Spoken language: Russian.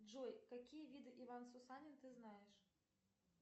джой какие виды иван сусанин ты знаешь